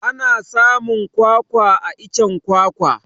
Ana samun kwakwa a iccen kwakwa